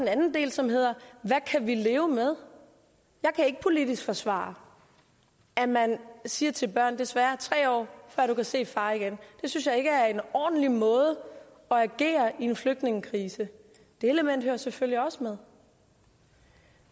anden del som hedder hvad kan vi leve med jeg kan ikke politisk forsvare at man siger til børn desværre tre år før du kan set din far igen det synes jeg ikke er en ordentlig måde at agere på i en flygtningekrise det element hører selvfølgelig også med